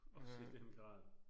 Også i den grad